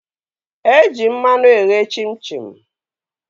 Eji mmanụ eghe chim chim